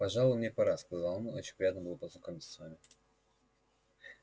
пожалуй мне пора сказал он очень приятно было познакомиться с вами